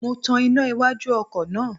Mo tan iná iwájú ọkọ̀ náà